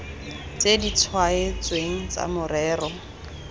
tse di tlhaotsweng tsa morero